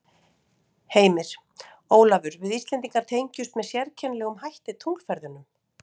Heimir: Ólafur við Íslendingar tengjumst með sérkennilegum hætti tunglferðunum?